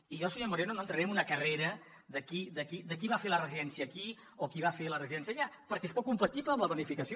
i jo senyor moreno no entraré en una carrera de qui va fer la residència aquí o qui va fer la residència allà perquè és poc compatible amb la planificació